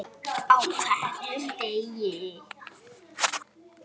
HVERJUM DEGI!